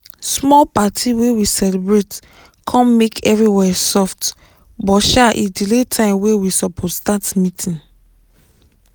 small party wey we celebrate com make everywhere soft buh sha e delay time wey we suppose start meetig